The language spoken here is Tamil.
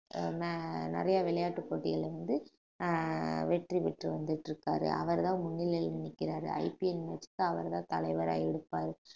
ஆஹ் ந~ நிறைய விளையாட்டுப் போட்டிகள்ல வந்து ஆஹ் வெற்றி பெற்று வந்துட்டு இருக்காரு அவர்தான் முன்னிலையில நிக்கிறாரு IPL match க்கு அவர்தான் தலைவரா இருப்பாரு